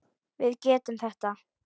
Við getum þetta.